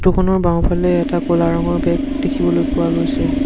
বাওঁফালে এটা ক'লা ৰঙৰ বেগ দেখিবলৈ পোৱা গৈছে।